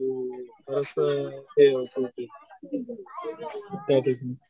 हं मस्त हे त्याठिकाणी